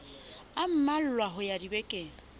a mmalwa ho ya dibekeng